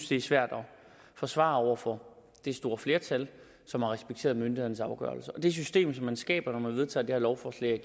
det er svært at forsvare over for det store flertal som har respekteret myndighedernes afgørelse det system som man skaber når man vedtager det her lovforslag